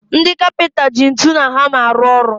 Ndị kapịnta ji ntụ na hama arụ ọrụ